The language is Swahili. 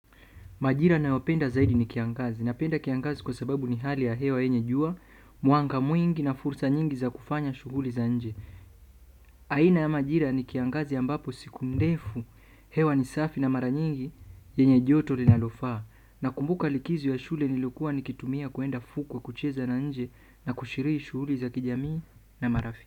Majira ninayopenda zaidi ni kiangazi. Napenda kiangazi kwa sababu ni hali ya hewa yenye jua, mwanga mwingi na fursa nyingi za kufanya shughuli za nje. Aina ya majira ni kiangazi ambapo siku ndefu. Hewa ni safi na mara nyingi yenye joto linalofaa. Nakumbuka likizo ya shule nilokuwa nikitumia kuenda fukwe kucheza na nje na kushiriki shughuli za kijamii na marafiki.